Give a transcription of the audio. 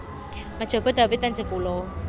Mejobo Dawe dan Jekulo